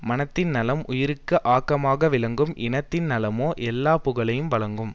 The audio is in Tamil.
மனத்தின் நலம் உயிருக்கு ஆக்கமாக விளங்கும் இனத்தின் நலமோ எல்லா புகழையும் வழங்கும்